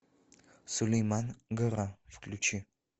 сулейман гора включи